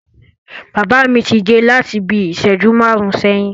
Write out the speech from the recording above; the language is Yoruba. Bàbá mi ti dé láti bí ìṣẹ́jú márùn-ún sẹ́yìn.